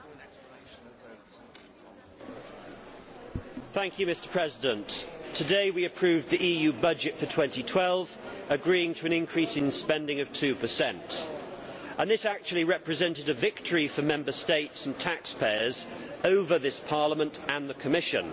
Mr President, today we approved the EU budget for 2012, agreeing to an increase in spending of 2 and this actually represented a victory for Member States and taxpayers over this Parliament and the Commission.